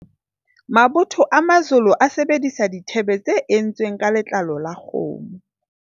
mabotho a Mazolo a sebedisa dithebe tse entsweng ka letlalo la kgomo